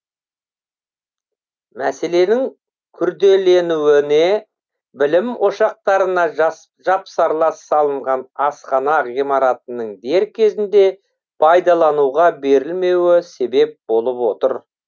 мәселенің күрделенуіне білім ошақтарына жапсарлас салынған асхана ғимаратының дер кезінде пайдалануға берілмеуі себеп болып отыр